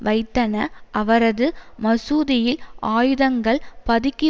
வைத்தன அவரது மசூதியில் ஆயுதங்கள் பதுக்கி